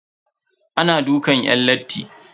Ana dukan yan latti.